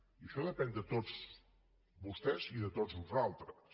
i això depèn de tots vostès i de tots nosaltres